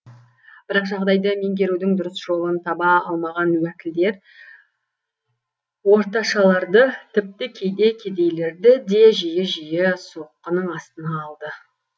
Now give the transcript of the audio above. бірақ жағдайды меңгерудің дұрыс жолын таба алмаған уәкілдер орташаларды тіпті кейде кедейлерді де жиі жиі соққының астына алды